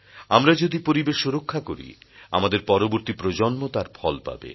আমরা যদি পরিবেশ রক্ষা করি আমাদের পরবর্তী প্রজন্ম তার ফল পাবে